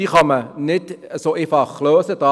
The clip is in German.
Diese kann man nicht so einfach lösen.